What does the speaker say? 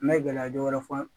N bɛ gɛlɛya dɔ wɛrɛ fɔ